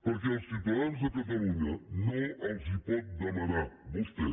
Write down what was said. perquè als ciutadans de catalunya no els pot demanar vostè